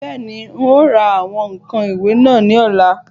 Bẹ́ẹ̀ni, n ó ra àwọn ǹkan ìwẹ̀ náà ní ọ̀la